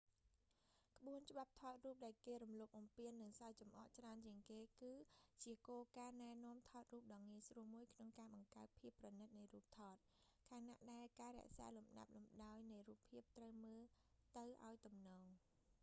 ក្បួនច្បាប់ថតរូបដែលគេរំលោភបំពាន និងសើចចំអកច្រើនជាងគេ គឺជាគោលការណ៍ណែនាំថតរូបដ៏ងាយស្រួលមួយក្នុងការបង្កើតភាពប្រណិតនៃរូបថត ខណៈដែលការរក្សាលំដាប់លំដោយនៃរូបភាពត្រូវមើលទៅឱ្យទំនង